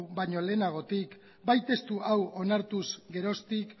baino lehenagotik bai testu hau onartu geroztik